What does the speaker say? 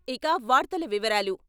ఇక వార్తల వివరాలు...